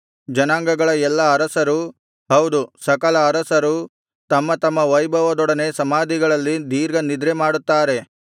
ಜನಾಂಗಗಳ ಎಲ್ಲಾ ಅರಸರೂ ಹೌದು ಸಕಲ ಅರಸರೂ ತಮ್ಮ ತಮ್ಮ ವೈಭವದೊಡನೆ ಸಮಾಧಿಗಳಲ್ಲಿ ದೀರ್ಘ ನಿದ್ರೆ ಮಾಡುತ್ತಾರೆ